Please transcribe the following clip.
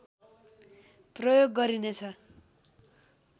प्रयोग गरिनेछ